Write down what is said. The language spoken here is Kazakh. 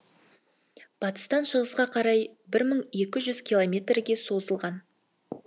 батыстан шығысқа карай бір мың екі жүз километрге созылған